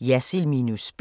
Jersild minus spin *